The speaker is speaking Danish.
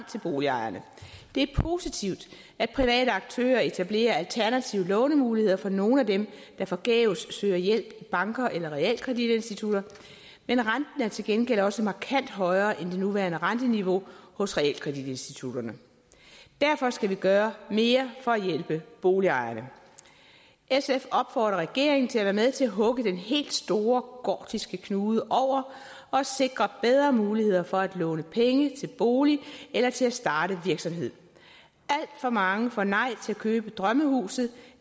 til boligejerne det er positivt at private aktører etablerer alternative lånemuligheder for nogle af dem der forgæves søger hjælp i banker eller realkreditinstitutter men renten er til gengæld også markant højere end det nuværende renteniveau hos realkreditinstitutterne derfor skal vi gøre mere for at hjælpe boligejerne sf opfordrer regeringen til at være med til at hugge den helt store gordiske knude over og sikre bedre muligheder for at låne penge til bolig eller til at starte en virksomhed alt for mange får nej til at købe drømmehuset